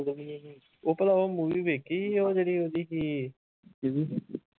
ਉਹ ਭਲਾ ਉਹ movie ਵੇਖੀ ਸੀ ਉਹ ਜਿਹੜੀ ਉਹਦੀ ਸੀ